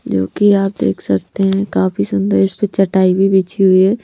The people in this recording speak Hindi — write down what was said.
जो कि आप देख सकते हैंकाफी सुंदर इस पे चटाई भी बिछी हुई है।